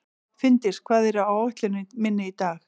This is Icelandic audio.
Finndís, hvað er á áætluninni minni í dag?